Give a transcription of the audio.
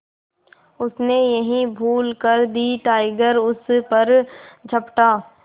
उसने यही भूल कर दी टाइगर उस पर झपटा